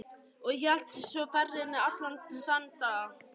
Og hélt svo ferðinni allan þann dag og næstu nótt.